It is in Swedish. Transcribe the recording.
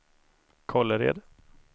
Kållered